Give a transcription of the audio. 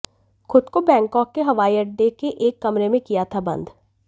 खुद को बैंकॉक के हवाईअड्डे के एक कमरे में किया था बंद